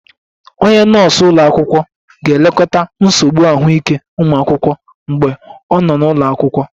Onye nọọsụ ụlọ akwụkwọ ga-elekọta nsogbu ahụike ụmụ akwụkwọ mgbe ọ nọ n'ụlọ akwụkwọ